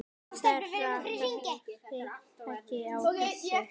Þeirra kerfi taki á þessu.